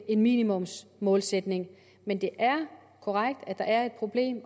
en minimumsmålsætning men det er korrekt at der er et problem i